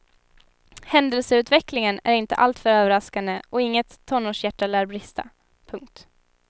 Händelseutvecklingen är inte alltför överraskande och inget tonårshjärta lär brista. punkt